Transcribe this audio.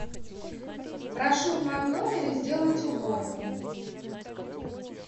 прошу в моем номере сделать уборку